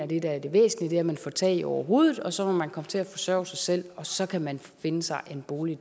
det der er det væsentlige er at man får tag over hovedet og så må man komme til at forsørge sig selv og så kan man finde sig en bolig